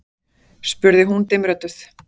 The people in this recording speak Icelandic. spurði hún dimmrödduð.